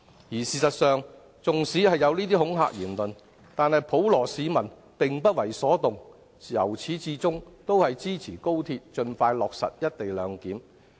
而事實上，縱使有這些恐嚇言論，普羅市民仍不為所動，由始至終支持高鐵盡快落實"一地兩檢"。